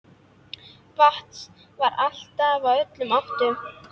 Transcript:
Vatns var aflað úr öllum áttum.